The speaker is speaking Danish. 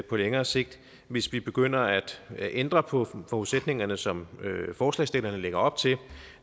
på længere sigt hvis vi begynder at ændre på forudsætningerne som forslagsstillerne lægger op til